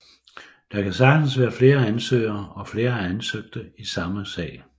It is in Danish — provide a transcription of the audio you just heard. Der kan sagtens være flere sagsøgere og flere sagsøgte i samme sag